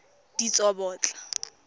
ditsobotla